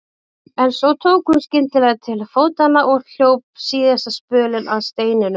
En svo tók hún skyndilega til fótanna og hljóp síðasta spölinn að steininum.